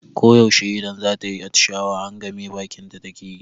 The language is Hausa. Ko yaushe idan zata yi atishawa, hangame bakinta take yi.